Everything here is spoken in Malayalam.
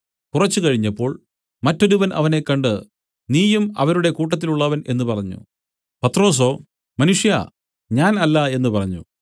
കുറച്ച് കഴിഞ്ഞപ്പോൾ മറ്റൊരുവൻ അവനെ കണ്ട് നീയും അവരുടെ കൂട്ടത്തിലുള്ളവൻ എന്നു പറഞ്ഞു പത്രൊസോ മനുഷ്യാ ഞാൻ അല്ല എന്നു പറഞ്ഞു